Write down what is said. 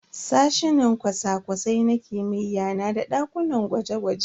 Sashinan cosa-cosai na kimiyya na da dakunan gwaje-gwaje.